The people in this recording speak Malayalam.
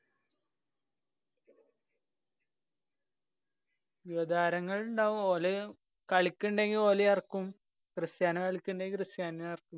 യുവതാരങ്ങള്‍ ഇണ്ടാവും. ഓല് കളിക്കിണ്ടെങ്കി ഓലേം എറക്കും. ക്രിസ്റ്റ്യാനോ കളിക്കിണ്ടെങ്കി ക്രിസ്റ്റ്യാനോനേം എറക്കും.